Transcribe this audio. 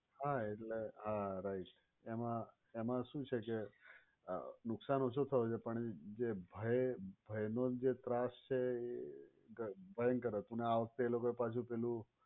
હા એટલે હા right એમાં એમાં શું છે કે નુકશાન ઓછું થયું છે પણ જે ભય ભયનો જે ત્રાસ છે એ ભયંકર હતું અને આ વખતે એ લોકો એ પાછું પેલું